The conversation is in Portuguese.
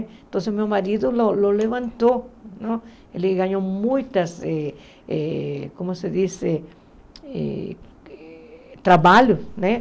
Então, meu marido o o levantou, ele ganhou muitas eh eh, como se diz, eh trabalhos, né?